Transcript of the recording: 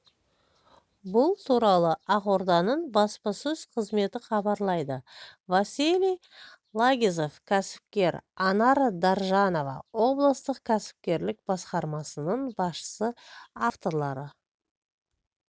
бұл туралы ақорданың баспасөз қызметі хабарлайды василий лагизов кәсіпкер анар даржанова облыстық кәсіпкерлік басқармасының басшысы авторлары